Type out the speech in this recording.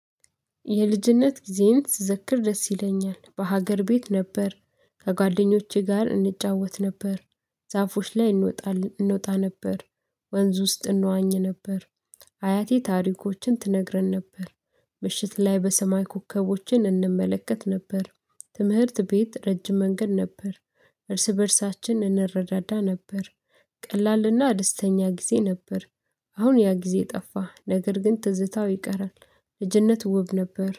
የልጅነት ጊዜዬን ስዘክር ደስ ይለኛል። በሀገር ቤት ነበር። ከጓደኞቼ ጋር እንጫወት ነበር። ዛፎች ላይ እንወጣ እንወጣ ነበር። ወንዝ ውስጥ እንዋኝ ነበር። አያቴ ታሪኮችን ትነግረን ነበር። ምሽት ላይ በሰማይ ኮከቦችን እንመለከት ነበር። ትምህርት ቤት ረጅም መንገድ ነበር። እርስ በእርሳችን እንረዳዳ ነበር። ቀላልና ደስተኛ ጊዜ ነበር። አሁን ያ ጊዜ ጠፋ፤ ነገር ግን ትዝታው ይቀራል። ልጅነት ውብ ነበር።